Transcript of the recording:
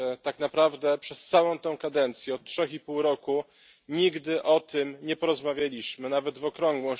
Tak naprawdę przez całą tę kadencję od trzech i pół roku nigdy o tym nie porozmawialiśmy, nawet w okrągłą